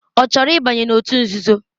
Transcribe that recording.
Ọ chọrọ ịbanye n'òtù nzuzo?